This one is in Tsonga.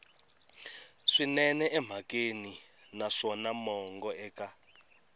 swinene emhakeni naswona mongo eka